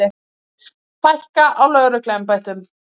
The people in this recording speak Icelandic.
Fækka á lögregluembættum